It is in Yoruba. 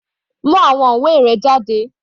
Mú àwọn ìwé rẹ jáde.